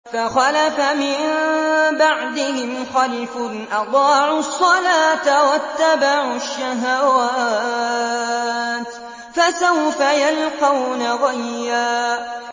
۞ فَخَلَفَ مِن بَعْدِهِمْ خَلْفٌ أَضَاعُوا الصَّلَاةَ وَاتَّبَعُوا الشَّهَوَاتِ ۖ فَسَوْفَ يَلْقَوْنَ غَيًّا